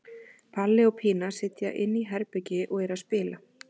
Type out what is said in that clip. Palli og Pína sitja inni í herbergi og eru að spila.